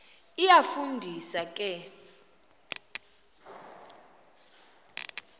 iyafu ndisa ke